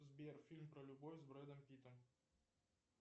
сбер фильм про любовь с бредом питтом